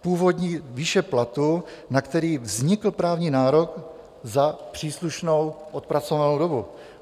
původní výše platu, na který vznikl právní nárok za příslušnou odpracovanou dobu.